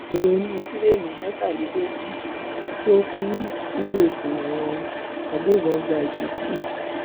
èrò inú tirẹẹẹni mẹtàlélógún tó kù nígbèkùn àwọn agbébọn gba ìtúsílẹ